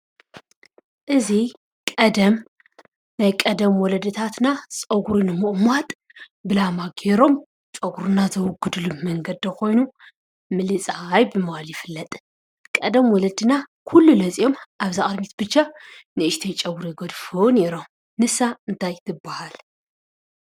እዚ ናይ ቀደም ወለድታትና ፀጉሪ ንምቁማጥ ብላማ ገይሮም ጨጉሪነቲ ዘውግድሉ መንገዲ ኮይኑ ምልፃይ ብምባል ይፍለጥ፡፡ ቀደም ወለድና ኣበ እዛ ቅድሚት ብቻ ንእሽተይ ጨጉሪ ይገድፉ ነይሮም፡፡ ንሳ እንታይ ትባሃል?